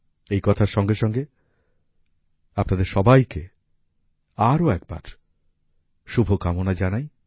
এ কথার সঙ্গে সঙ্গে আপনাদের সবাইকে আরো একবার শুভকামনা জানাই